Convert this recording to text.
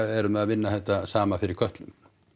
erum við að vinna þetta sama fyrir Kötlu